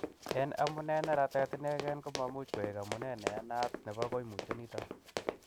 En amune, neratet inegen komamuch koik amune neyanat nebo koimutioniton.